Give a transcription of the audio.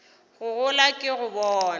go gola ke go bona